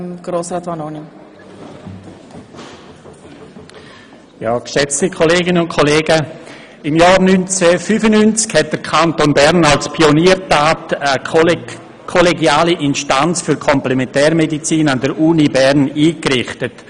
Im Jahr 1995 hat der Kanton Bern als Pioniertat eine Kollegiale Instanz für Komplementärmedizin an der Universität Bern eingerichtet.